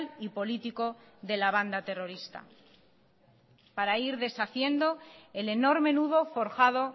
y político de la banda terrorista para ir deshaciendo el enorme nudo forjado